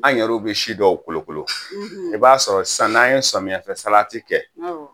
An yɛrɛw bɛ si dɔw kolokolo i b'a sɔrɔ sann'an ye samiyɛfɛsalati kɛ